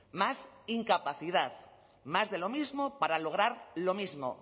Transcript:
más incapacidad más de lo mismo para lograr lo mismo